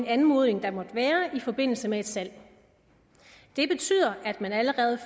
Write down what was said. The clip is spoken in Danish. anmodning der måtte være i forbindelse med et salg det betyder at man allerede